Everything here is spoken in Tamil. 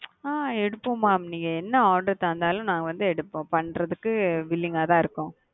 அ எடுப்போம் மா நீங்க என்ன order தந்தாலும் நாங்க வந்து எடுப்போம் பண்றதுக்கு தான் willing இருக்கோம்.